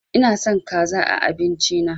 Ina son kaza a abincin na